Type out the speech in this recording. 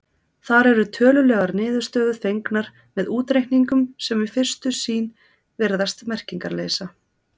Þar eru tölulegar niðurstöður fengnar með útreikningum sem við fyrstu sýn virðast merkingarleysa.